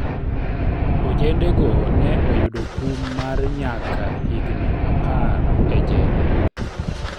ojendego ne oyudo kum mar nyaka higni apar e jela